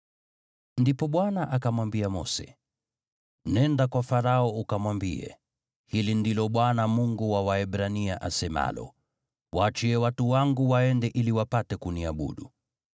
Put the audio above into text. Ndipo Bwana akamwambia Mose, “Nenda kwa Farao ukamwambie, ‘Hili ndilo Bwana , Mungu wa Waebrania asemalo: “Waachie watu wangu waende ili wapate kuniabudu.”